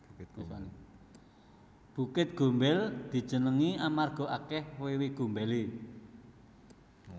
Bukit Gombel dijenengi amarga akeh wewe gombele